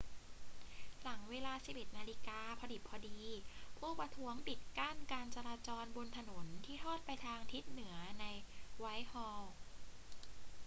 หลังเวลา 11.00 น พอดิบพอดี ผู้ประท้วงปิดกั้นการจราจรบนถนนที่ทอดไปทางทิศเหนือในไวท์ฮอลล์